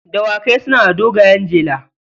Dawakai suna da dogayen jela.